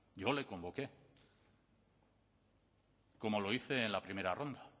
yo le convoqué como lo hice en la primera ronda